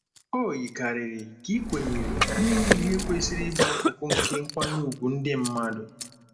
O yikarịrị ka ị kwenyere na inye ihe kwesịrị ịbụ akụkụ nke nkwanye ùgwù ndị mmadụ.